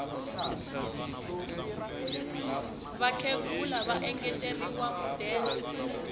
vakhegula va engeteriwe mudende